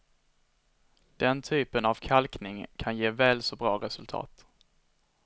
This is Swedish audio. Den typen av kalkning kan ge väl så bra resultat.